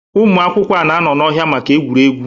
ụmụ akwụkwọ na-anọ n'ọhịa maka egwuregwu